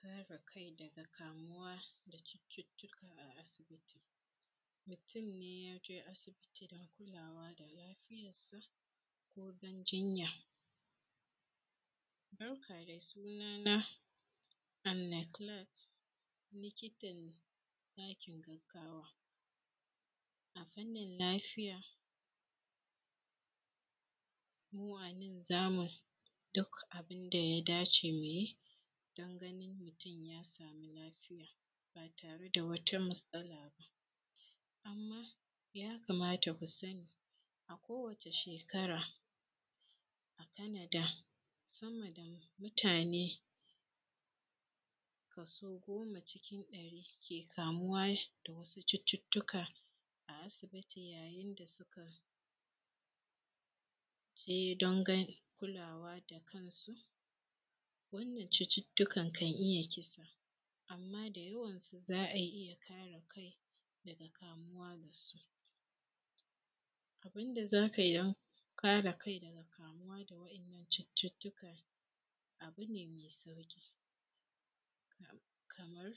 Kare kai daga kamuwa da cututtuka a aibiti mutum ne yake asibiti don kulawa da lafiyarsa ko dan jinya ɗauka da sunan na aleklikal likitan ɗakin gaggawa a fannin lafiya. Mu anan za mu daka abun da yadace mu yi dan ganin mutum ya samu lafiya ba tare da wata matsala ba, amma yakama ku sani akwai kowace shekara a Kanada sama da mutane kaso goma cikin ɗari ke kamuwa da wasu cututtuka a asibiti da suka je don kulawa da kansu, wannan cututtukan kan iya kisa amma da yawansu za a iya kare kai daga kamuwa da su. Abun da za ka kare kai daga kamuwa da waɗannan cututtuka abu ne mai sauƙi kaman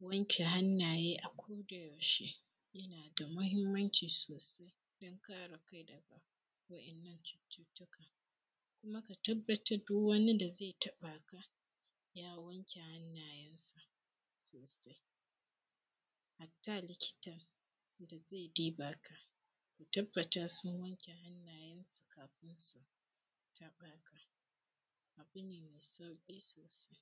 wane hanya akodayaushe yana da mahinmanci sosai don kare kai daga waɗannan cututtuka kuma ka tabbatar duk wani da ze taɓaka ya wanke hannayensa sosai hatta likitan da ze duba ka, ka tabbata sun wanke hannayen su kafun su taɓaka abu ne me sauƙi sosai.